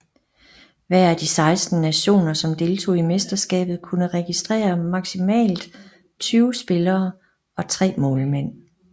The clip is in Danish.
Hver af de 16 nationer som deltog i mesterskabet kunne registrere maksimalt 20 spillere og tre målmænd